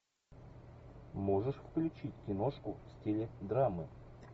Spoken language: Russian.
можешь включить киношку в стиле драмы